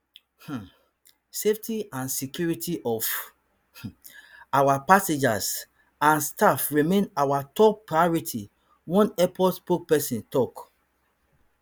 um safety and security of um our passengers and staff remain our top priority one airport spokesperson tok